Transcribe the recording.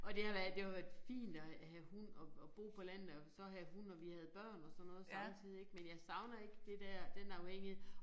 Og det har været det har jo været fint at have hund og og bo på landet og så have hund og vi havde børn og sådan noget så lang tid ik men jeg savner ikke det der den afhængighed